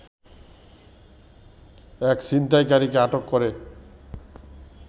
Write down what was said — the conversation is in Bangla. এক ছিনতাইকারীকে আটক করে